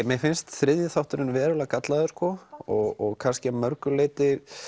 mér finnst þriðji þátturinn verulega gallaður og kannski að mörgu leyti